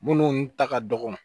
Minnu ta ka dɔgɔ